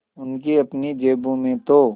उनकी अपनी जेबों में तो